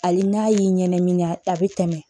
Hali n'a y'i ɲɛniga a bɛ tɛmɛ